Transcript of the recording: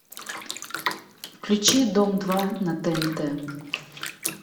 включи дом два на тнт